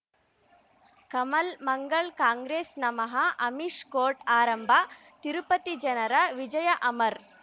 ಕಮಲ್ ಮಂಗಳ್ ಕಾಂಗ್ರೆಸ್ ನಮಃ ಅಮಿಷ್ ಕೋರ್ಟ್ ಆರಂಭ ತಿರುಪತಿ ಜನರ ವಿಜಯ ಅಮರ್